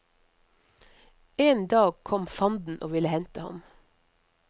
En dag kom fanden og ville hente ham.